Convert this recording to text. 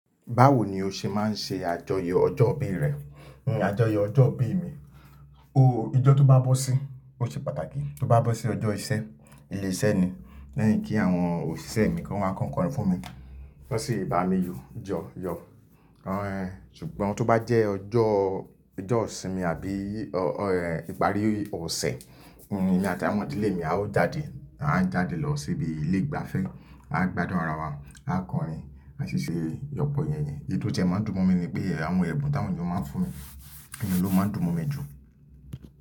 Báwo ni o ṣe máa ń ṣe àjọyọ̀ ọjọ́ ìbí rẹ? Àjọyọ̀ ọjọ́ ìbí mi, ooo ijọ tó bá bọ́ sí, ó ṣe pàtàkì. Tó bá bọ́ sí ọjọ́ iṣẹ́, ilé iṣẹ́ ni, lẹ́yìn kí àwọn òṣìṣẹ́ mi kan wá kan kọrin fún mi, kọ sí bà mi yọ jọ yọ. Ṣùgbọ́n tó bá jẹ́ ọjọ́, ọjọ́ ìsinmi àbí ọ, ọ ẹ ìparí ọ̀sẹ̀, ni emi ati àwọn idi ilé mi a ó jáde, à ń jáde lọ síbi ilé ìgbafẹ́, a gbádùn ara wa, a kọrin, a ṣiṣẹ́ yọ̀pọ̀ yẹn yẹn. Èyí tó ti ẹ máa ń dùn mọ́ mi ni pé ẹ àwọn ẹbùn táwọn ènìyàn máa ń fún mi òun ló máa ń dùn mọ́ mi jù.